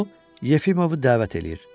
O Yefimovu dəvət eləyir.